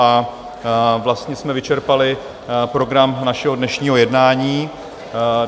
A vlastně jsme vyčerpali program našeho dnešního jednání.